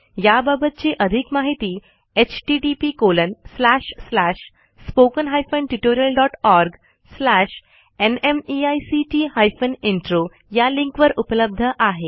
याबाबतची आधिक माहिती httpspoken tutorialorgNMEICT Intro या लिंकवर उपलब्ध आहे